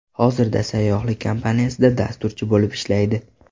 Hozirda sayyohlik kompaniyasida dasturchi bo‘lib ishlaydi.